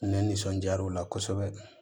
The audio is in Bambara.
Ne nisɔndiyaraw la kosɛbɛ